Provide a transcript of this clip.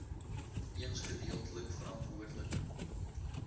eens gedeeltelik verantwoordelik